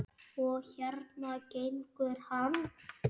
Og hérna gengur hann.